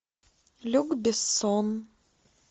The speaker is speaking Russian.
люк бессон